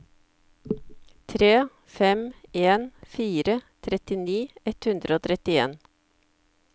tre fem en fire trettini ett hundre og trettien